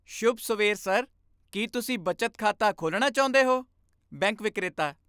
ਸ਼ੁਭ ਸਵੇਰ ਸਰ! ਕੀ ਤੁਸੀਂ ਬੱਚਤ ਖਾਤਾ ਖੋਲ੍ਹਣਾ ਚਾਹੁੰਦੇ ਹੋ? ਬੈਂਕ ਵਿਕਰੇਤਾ